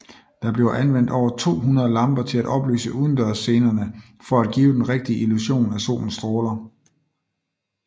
Der bliver anvendt over 200 lamper til at oplyse udendørsscenerne for at give den rigtige illusion af solens stråler